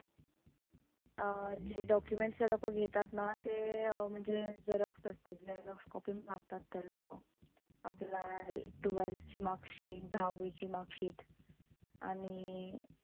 अं जे documents ते लोकं घेतात ना. ते अं म्हणजे xerox असतील xerox copy मागतात ते लोकं. आपला हे twelve ची mark sheet दहावी ची mark sheet आणि